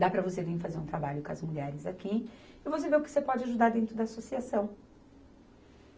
Dá para você vir fazer um trabalho com as mulheres aqui e você vê o que você pode ajudar dentro da associação.